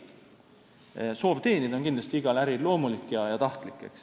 See soov on kindlasti igas äris loomulik.